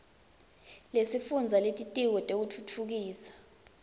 lesifundza lelitiko letekutfutfukiswa